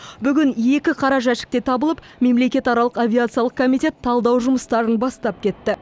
бүгін екі қара жәшік те табылып мемлекетаралық авиациялық комитет талдау жұмыстарын бастап кетті